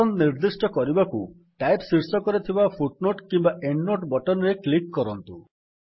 ପସନ୍ଦ ନିର୍ଦ୍ଦିଷ୍ଟ କରିବାକୁ ଟାଇପ୍ ଶୀର୍ଷକରେ ଥିବା ଫୁଟନୋଟ କିମ୍ୱା ଏଣ୍ଡନୋଟ ବଟନ୍ ରେ କ୍ଲିକ୍ କରନ୍ତୁ